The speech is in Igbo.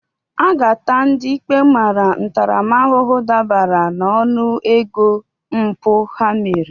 A ga-ata ndị ikpe mara ntaramahụhụ dabere n'ọnụego mpụ ha mere